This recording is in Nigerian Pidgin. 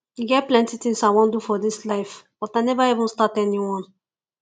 e get plenty things i wan do for dis life but i never even start anyone